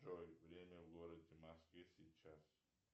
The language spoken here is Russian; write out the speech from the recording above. джой время в городе москве сейчас